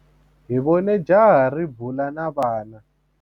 Hi vone jaha ri bula na vana.